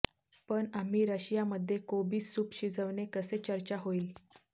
पण आम्ही रशिया मध्ये कोबी सूप शिजविणे कसे चर्चा होईल